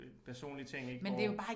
Øh personlige ting ik hvor